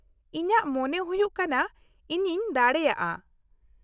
- ᱤᱧᱟᱹᱜ ᱢᱚᱱᱮ ᱦᱩᱭᱩᱜ ᱠᱟᱱᱟ ᱤᱧᱤᱧ ᱫᱟᱲᱮᱭᱟᱜᱼᱟ ᱾